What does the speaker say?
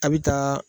A' bɛ taa